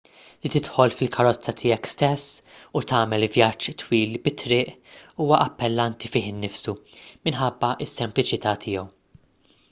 li tidħol fil-karozza tiegħek stess u tagħmel vjaġġ twil bit-triq huwa appellanti fih innifsu minħabba s-sempliċità tiegħu